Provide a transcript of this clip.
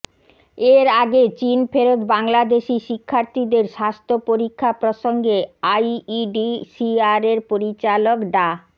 এর আগে চীন ফেরত বাংলাদেশি শিক্ষার্থীদের স্বাস্থ্য পরীক্ষা প্রসঙ্গে আইইডিসিআরের পরিচালক ডা